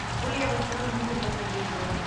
могу ли я в электронном виде подтвердить бронь